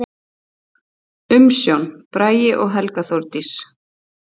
Umsjón: Bragi og Helga Þórdís.